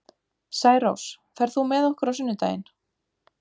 Særós, ferð þú með okkur á sunnudaginn?